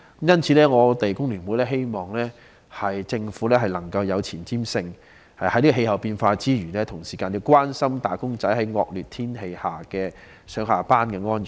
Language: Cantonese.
因此，工聯會希望政府有前瞻性，在關心氣候變化之餘，也關心"打工仔"在惡劣天氣下上、下班的安全。